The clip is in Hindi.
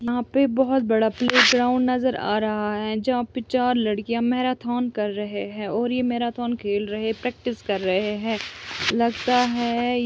यहा पे बहुत बड़ा प्लेग्राउंड नजर आ रहा है जहा पर चार लड़किया मैराथन कर रहे है और ये मैराथन खेल रहे प्रेक्टिस कर रहे है लगता है --